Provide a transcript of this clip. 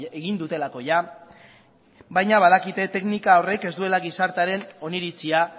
egin dutelako baina badakite teknika horrek ez duela gizartearen oniritzia